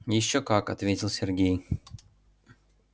ещё как ответил сергей